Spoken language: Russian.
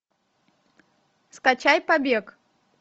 скачай побег